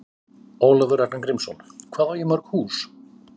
Ólafur Ragnar Grímsson: Hvað á ég mörg hús?